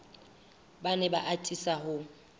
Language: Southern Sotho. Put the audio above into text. ba ne ba atisa ho